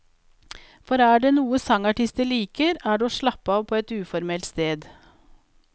For er det noe sangartisten liker, er det å slappe av på et uformelt sted.